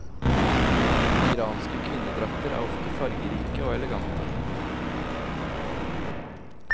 Iranske kvinnedrakter er ofte farverike og elegante.